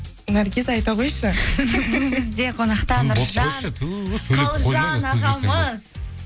наргиз айта қойшы бүгін бізде қонақта нұржан қалжан ағамыз